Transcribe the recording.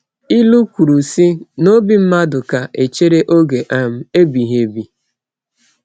Ilu kwuru, sị: “N’obi mmadụ ka echere oge um ebighị ebi.”